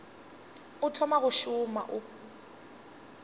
o thoma go šoma o